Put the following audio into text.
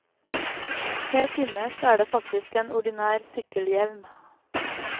Helt innerst er det faktisk en ordinær sykkelhjelm.